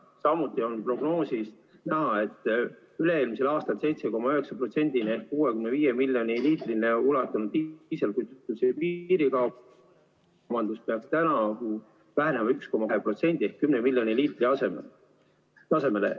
Samuti on prognoosist näha, et üle-eelmisel aastal 7,9% ehk 65 miljoni liitrini ulatunud diislikütuse piirikaup peaks tänavu vähenema 1,2% ehk 10 miljoni liitri tasemele.